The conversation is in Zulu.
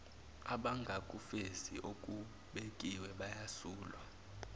abangakufezi okubekiwe bayasulwa